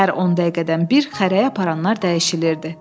Hər 10 dəqiqədən bir xərəyi aparanlar dəyişilirdi.